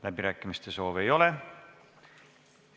Läbirääkimiste soovi ei ole.